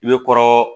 I bɛ kɔrɔ